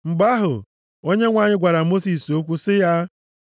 Mgbe ahụ, Onyenwe anyị gwara Mosis okwu sị ya,